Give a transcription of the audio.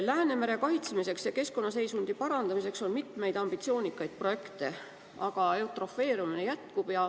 Läänemere kaitsmiseks ja keskkonnaseisundi parandamiseks on mitmeid ambitsioonikaid projekte, aga eutrofeerumine jätkub.